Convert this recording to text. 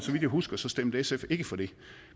jeg husker stemte sf ikke for det